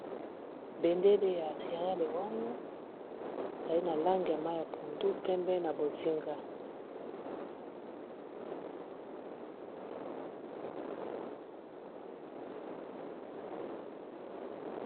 bendele ya siria leron ezali na lange ya ma ya pundu pembe na bozinga